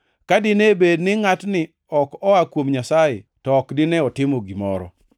Ka dine bed ni ngʼatni ok noa kuom Nyasaye, to ok dine otimo gimoro.”